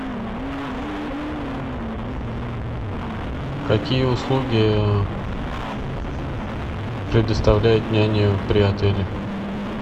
какие услуги предоставляет няня при отеле